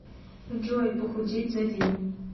джой похудеть за день